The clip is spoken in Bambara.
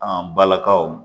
An balakaw